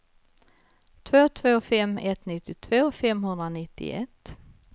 två två fem ett nittiotvå femhundranittioett